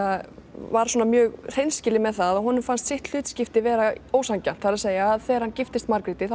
var svona mjög hreinskilinn með það að honum fannst sitt hlutskipti vera ósanngjarnt það er að segja þegar hann giftist Margréti þá